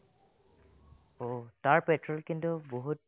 অ', তাৰ petro কিন্তু বহুত